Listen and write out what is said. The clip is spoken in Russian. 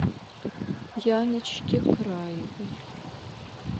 яночке краевой